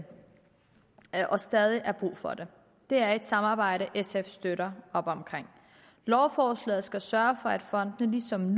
stadig er brug for det det er et samarbejde sf støtter lovforslaget skal sørge for at fondene som